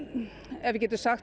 ef við getum sagt